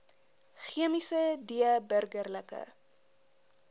chemiese d burgerlike